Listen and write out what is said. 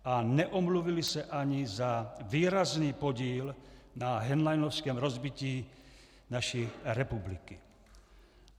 A neomluvili se ani za výrazný podíl na henleinovském rozbití naší republiky.